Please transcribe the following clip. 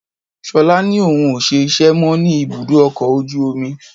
Ṣolá ni òun ó ṣe iṣẹ́ mó ní ibùdó ọkọ̀ ojú omi.